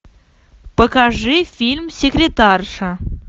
покажи фильм секретарша